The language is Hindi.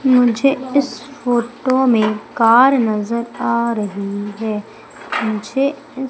मुझे इस फोटो में कार नजर आ रही है मुझे--